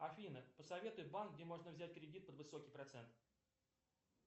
афина посоветуй банк где можно взять кредит под высокий процент